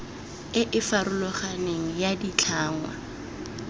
e e farologaneng ya ditlhangwa